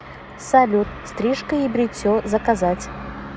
салют стрижка и бритье заказать